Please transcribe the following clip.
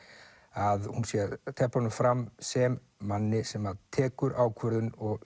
að hún sé að tefla honum fram sem manni sem tekur ákvörðun og